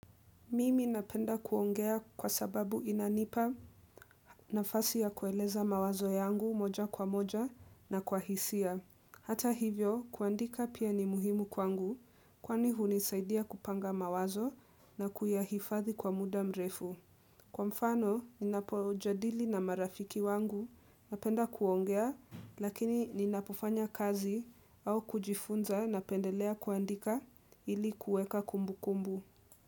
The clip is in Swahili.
Mimi napenda kuongea kwa sababu inanipa nafasi ya kueleza mawazo yangu moja kwa moja na kwa hisia. Hata hivyo, kuandika pia ni muhimu kwangu, kwani hunisaidia kupanga mawazo na kuyahifadhi kwa muda mrefu. Kwa mfano, ninapojadili na marafiki wangu, napenda kuongea, lakini ninapofanya kazi au kujifunza napendelea kuandika ili kueka kumbukumbu.